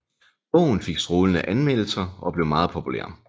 Bogen fik strålende anmeldelser og blev meget populær